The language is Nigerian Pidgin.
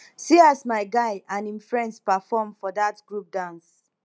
see as my guy and him friends perform for dat group dance